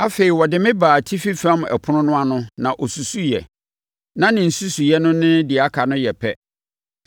Afei ɔde me baa atifi fam ɛpono no ano na ɔsusuiɛ. Na ne nsusuiɛ no ne deɛ aka no yɛ pɛ,